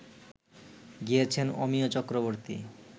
গিয়েছেন অমিয় চক্রবর্তী